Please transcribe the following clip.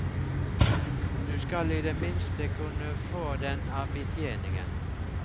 Du skal i det minste kunne få den av betjeningen.